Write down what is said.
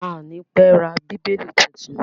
A à ní pẹ́ ra Bíbélì titun.